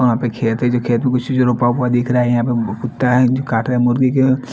और वहा पे खेत है जो खेत में कुछ नि रोपा हुआ दिखरा है यापे कुता है जो कातरा है मुर्गी को--